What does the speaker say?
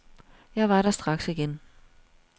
Jeg var der straks igen.